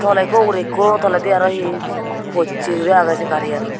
toley ikko ugurey ikko toledi arw hi sen possey guri agey sen garian.